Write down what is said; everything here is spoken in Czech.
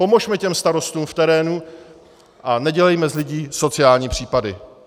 Pomozme těm starostům v terénu a nedělejme z lidí sociální případy.